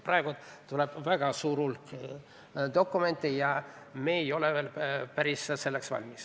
Praegu tuleb peale väga suur hulk dokumente ja me ei ole selleks päris valmis.